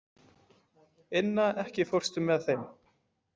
Inna, ekki fórstu með þeim?